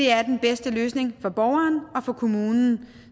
er den bedste løsning for borgeren og for kommunen